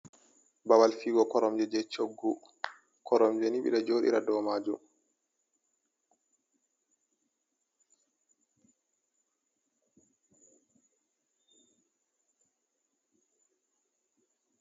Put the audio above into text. Babal fiugo koromje je choggu. Koromje nii ɓe ɗo joɗira dow majum.